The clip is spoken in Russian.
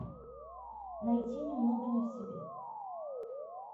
найти немного не в себе